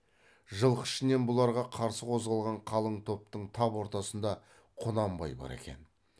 жылқы ішінен бұларға қарсы қозғалған қалың топтың тап ортасында құнанбай бар екен